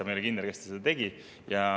Ma ei ole kindel, kas ta seda tegi.